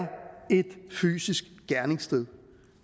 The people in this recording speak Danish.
et fysisk gerningssted